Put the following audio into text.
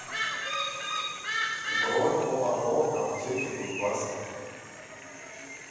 бронь оао аптеки кузбасса